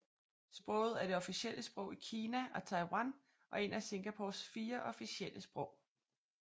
Sproget er det officielle sprog i Kina og Taiwan og et af Singapores fire officielle sprog